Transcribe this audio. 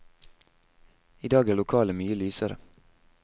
I dag er lokalet mye lysere.